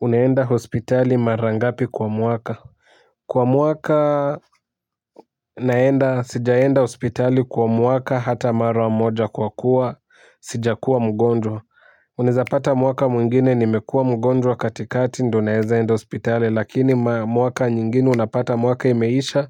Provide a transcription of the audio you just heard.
Uneenda hospitali mara ngapi kwa muaka kwa muaka naenda sijaenda hospitali kwa muaka hata mara moja kwa kuwa sija kuwa mgonjwa uneza pata muaka mwingine nimekua mgonjwa katikati ndo naeza enda hospitali lakini muaka nyingine unapata muaka imeisha